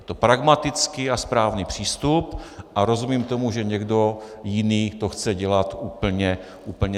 Je to pragmatický a správný přístup a rozumím tomu, že někdo jiný to chce dělat úplně stejně.